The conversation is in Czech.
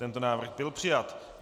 Tento návrh byl přijat.